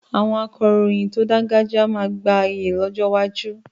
Àwọn akọ̀ròyìn tó dáńgájíá máa gba iyì lọ́jọ́ iwájú.